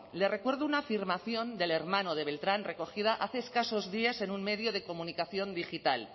le recuerdo una afirmación del hermano de beltrán recogida hace escasos días en un medio de comunicación digital